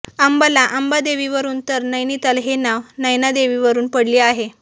अंबाला आंबा देवीवरून तर नैनिताल हे नाव नैनादेवी वरून पडले आहे